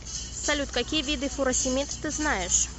салют какие виды фуросемид ты знаешь